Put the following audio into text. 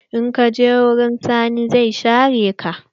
In kaje wurin Sani zai share ka.